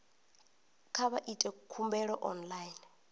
kha vha ite khumbelo online